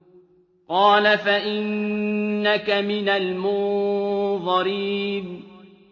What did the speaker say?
قَالَ فَإِنَّكَ مِنَ الْمُنظَرِينَ